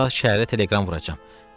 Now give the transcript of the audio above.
Bu saat şəhərə telegram vuracam.